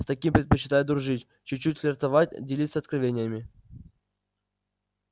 с такими предпочитают дружить чуть-чуть флиртовать делиться откровениями